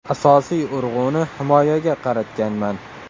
Asosiy urg‘uni himoyaga qaratganman.